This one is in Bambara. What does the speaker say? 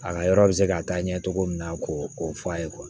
A ka yɔrɔ bɛ se ka taa ɲɛ cogo min na ko o f'a ye